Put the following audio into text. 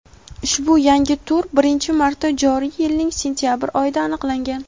ushbu yangi tur birinchi marta joriy yilning sentyabr oyida aniqlangan.